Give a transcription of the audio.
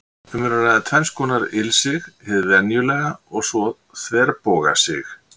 Um er að ræða tvenns konar ilsig, hið venjulega og svo þverbogasig.